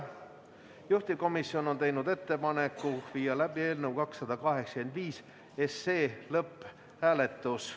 Juhtivkomisjon on teinud ettepaneku viia läbi eelnõu 285 lõpphääletus.